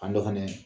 A dɔ fɛnɛ